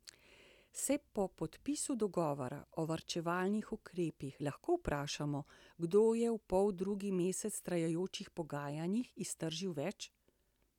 Se po podpisu dogovora o varčevalnih ukrepih lahko vprašamo, kdo je v poldrugi mesec trajajočih pogajanjih iztržil več?